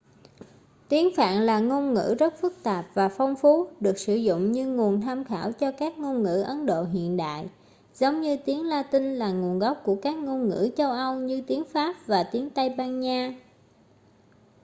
tiếng phạn là ngôn ngữ rất phức tạp và phong phú được sử dụng như nguồn tham khảo cho các ngôn ngữ ấn độ hiện đại giống như tiếng latinh là nguồn gốc của các ngôn ngữ châu âu như tiếng pháp và tiếng tây ban nha